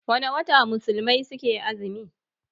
Wana wata musulmai suke azumi?